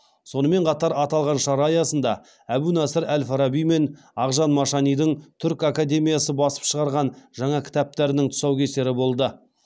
сонымен қатар аталған шара аясында әбу насыр әл фараби мен ақжан машанидың түркі академиясы басып шығарған жаңа кітаптарының тұсаукесері болды